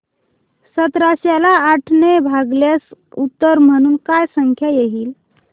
सतराशे ला आठ ने भागल्यास उत्तर म्हणून काय संख्या येईल